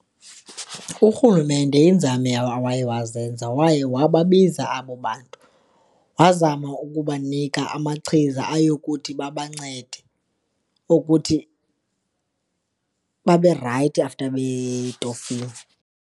Urhulumente iinzame awaye wazenza, waye wababiza abo bantu, wazama ukubanika amachiza ayokuthi babancede ukuthi babe rayithi after betofile.